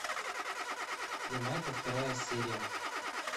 ямайка вторая серия